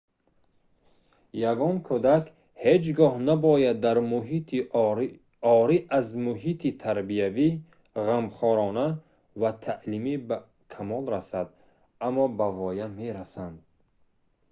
ягон кӯдак ҳеҷ гоҳ набояд дар муҳити орӣ аз муҳити тарбиявӣ ғамхорона ва таълимӣ ба камол расад аммо ба воя мерасанд